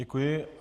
Děkuji.